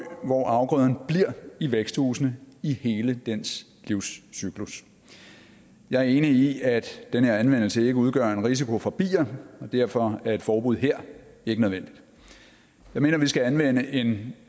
hvor afgrøden bliver i væksthusene i hele dens livscyklus jeg er enig i at den her anvendelse ikke udgør en risiko for bier og derfor er et forbud her ikke nødvendigt jeg mener vi skal anvende en